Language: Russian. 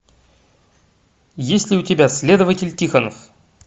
есть ли у тебя следователь тихонов